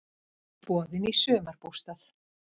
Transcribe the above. Boðin í sumarbústað!